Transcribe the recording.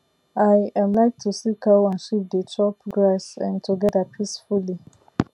i um like to see cow and sheep dey chop grass um together peacefully